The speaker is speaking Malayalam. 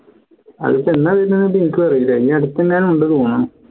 അത് ഇപ്പോ എന്നാ വരുന്നത് എന്ന് എനിക്കും അറില്ല ഈയടുത്ത് എങ്ങാനുണ്ട് തോന്നുണു